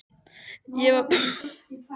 Kona hans var Björg Jónasdóttir frá Svínaskála.